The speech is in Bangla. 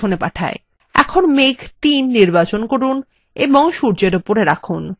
এখন মেঘ ৩ নির্বাচন করুন এবং সূর্যের উপরে রাখুন